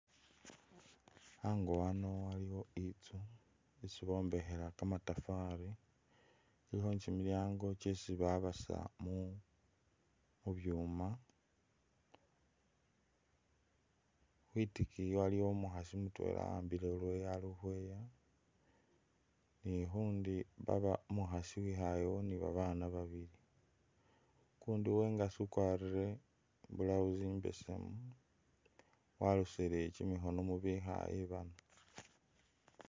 Ango ano aliwo itsu isi bombekhela kamatafari, khulikho kimilyango kyesi babasa mu mu byuma. Khwitikiyi waliyo umukhasi mutwela awambile siyeyo ali ukhweeya, ni ikhundi baba umukhasi uwikhaayekho ni babaana babili. Ukundi uwengasi ukwarire I blouse imbesemu, walosile kimikhono mu bekhaaye bano.